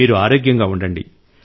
మీరు ఆరోగ్యంగా ఉండండి